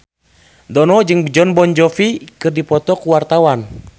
Dono jeung Jon Bon Jovi keur dipoto ku wartawan